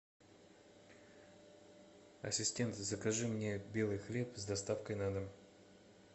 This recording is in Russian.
ассистент закажи мне белый хлеб с доставкой на дом